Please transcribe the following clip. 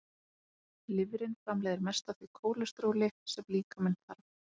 Lifrin framleiðir mest af því kólesteróli sem líkaminn þarf.